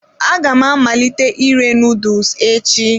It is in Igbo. Aga m amalite ire noodles echi.